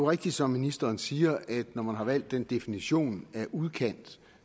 rigtigt som ministeren siger at når man har valgt den definition af udkant